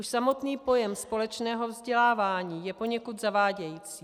Už samotný pojem společné vzdělávání je poněkud zavádějící.